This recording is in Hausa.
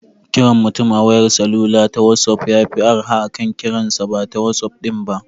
Kiran mutum a wayar salula ta wazof yafi arha akan kiransa bata wazof din ba.